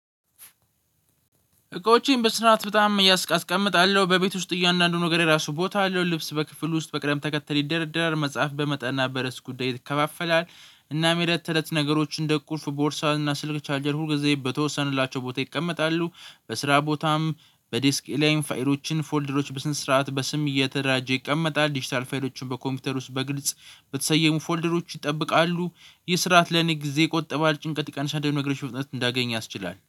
እቃዎቼን በስርዓት በጣም እያስ ኣስቀምጣለው በቤት ውስጥ እያንዳንዱን ነገሬ ራሱ ቦታ አለው። ልብስ በክፍሉ ውስጥ በቅደም ተከተል ይደረደራል። መጽሐፍ በማጠናበት ርዕስ ጉዳይ ይካፋፈላል። እናም የእለት ተለት ነገሮች እንደ ቁልፍ ቦርሳን እና ስልክ ቻርጀሩ ሁልጊዜ በተወሰነላቸው ቦታ ይቀመጣሉ። በስራ ቦታም በዲስክ ያለኝን ፋይሎችን ፎልደሮች በስነ ስርዓት በስም እየተደራጀ ይቀመጣል። ዲጂታል ፋይሎችን በኮምፒውተር ውስጥ በግልጽ በተሰየሙ ፎልደሮች ይጠብቃሉ። ይህ ስርዓት ለኔ ጊዜ ይቆጥባል ኣንድን ደቂቃን ሳልደናገር ነገሮቹ በፍጥነት እንዳገኝ ያስችላል